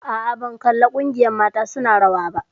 Aa, ban kalli ƙungiyar rawar mata su na rawa ba